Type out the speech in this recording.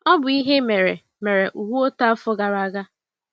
Ọ bụ ihe mere mere Uwe otu afọ gara aga.